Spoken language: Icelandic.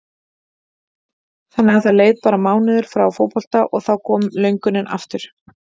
Þannig að það leið bara mánuður frá fótbolta og þá kom löngunin aftur?